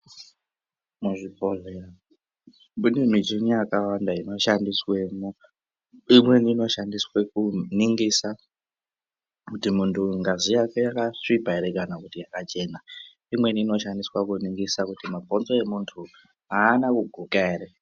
Muzvibhohlera mune michini yakawanda inoshandiswemwo. Imweni inoshandiswe kuningisa kuti muntu uyu ngazi yake yakasvipa here kana kuti yakachena. Imweni inoshandiswa kuningisa kuti mabhonzo emuntu haana kuguka ere.